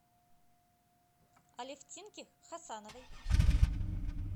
алефтинки хасановой